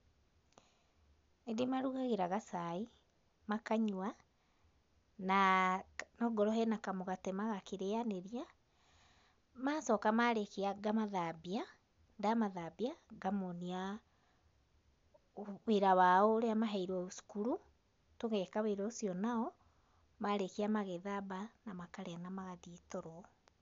Nĩndĩmarugagĩra gacai, makanyua, na wakorwo hena kamũgate magakĩrĩanĩria macooka marĩkia ,ngamathambia, ndamathambia, ngamonia wĩra wao ũrĩa maheirwo cukuru, tũgeka wĩra ũcio nao, marĩkia magethamba na makarĩkia na magathiĩ toro.